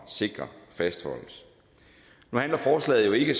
sikre fastholdes nu handler forslaget jo ikke